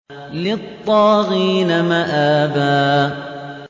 لِّلطَّاغِينَ مَآبًا